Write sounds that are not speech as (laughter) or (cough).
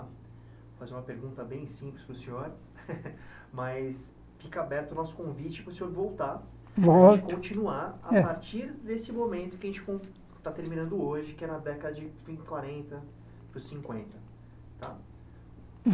Vou fazer uma pergunta bem simples para o senhor, (laughs) mas fica aberto o nosso convite para o senhor voltar Volto e continuar a partir desse momento que a gente está terminando hoje, que é na década de quarenta para cinquenta, tá?